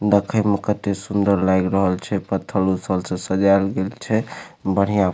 देखे में कते सुंदर लाग रहल छै पत्थर-उथर से सजाल गेल छै बढ़िया--